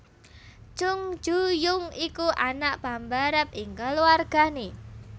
Chung Ju Yung iku anak pambarep ing kluwargané